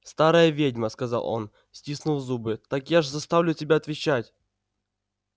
старая ведьма сказал он стиснув зубы так я ж заставлю тебя отвечать